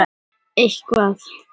Lífeyrissjóðir kaupi þyrlu